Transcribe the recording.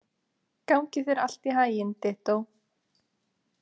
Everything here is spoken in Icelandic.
Gangi þér allt í haginn, Dittó.